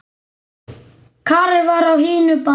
Karen var á hinu baðinu.